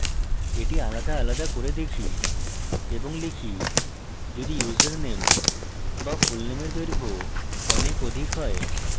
এটি আলাদা আলাদা করে দেখি এবং লিখি যদি ইউসারনেম বা fullname দৈর্ঘ্য অনেক অধিক হয়